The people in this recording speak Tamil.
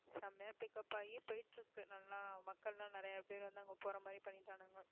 செமையா pick up ஆகி போயிட்டு இருக்கு நல்லா மக்கள் எல்லாம் நிறைய பேர் வந்து அங்க போற மாதிரி பண்ணிட்டானுங்க